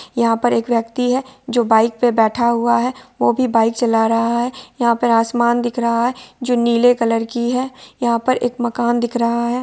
यहा पर एक व्यक्ति है जो बाइक पे बैठा हुआ है | वो भी बाइक चला रहा है| यहा पर आसमान दिख रहा है जो नीले कलर की है| यहा पर एक मकान दिख रहा है।